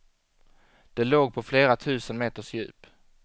Det låg på flera tusen meters djup.